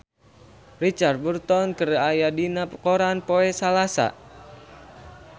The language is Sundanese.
Richard Burton aya dina koran poe Salasa